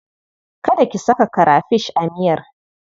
Kada ki sa karafish a miyar.